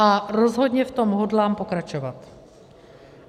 A rozhodně v tom hodlám pokračovat.